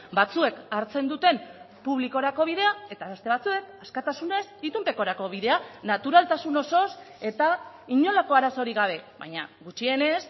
batzuek hartzen duten publikorako bidea eta beste batzuek askatasunez itunpekorako bidea naturaltasun osoz eta inolako arazorik gabe baina gutxienez